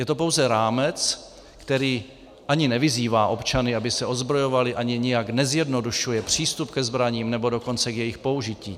Je to pouze rámec, který ani nevyzývá občany, aby se ozbrojovali, ani nijak nezjednodušuje přístup ke zbraním, nebo dokonce k jejich použití.